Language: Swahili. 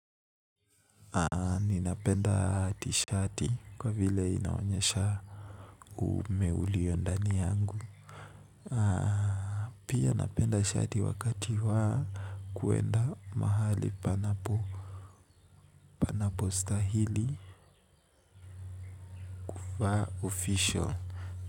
Ni napenda t-shirt kwa vile inaonyesha umeuliondani yangu. Pia napenda shati wakati wa kuenda mahali pana postahili kuvaa official.